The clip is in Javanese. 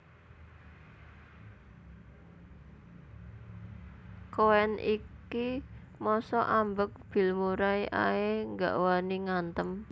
Koen iki mosok ambek Bill Murray ae gak wani ngantem